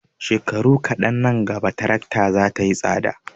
Shekaru kaɗan nan gaba tarakta za ta yi tsada.